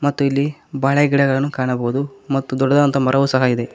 ಮತ್ತು ಇಲ್ಲಿ ಬಾಳೆ ಗಿಡಗಳನ್ನು ಕಾಣಬಹುದು ಮತ್ತು ದೊಡ್ಡದಂತ ಮರವು ಸಹ ಇದೆ.